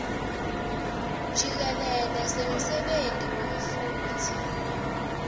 jikelele semsebenti wemfundzi